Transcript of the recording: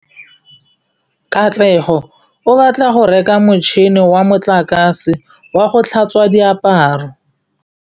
Katlego o batla go reka motšhine wa motlakase wa go tlhatswa diaparo.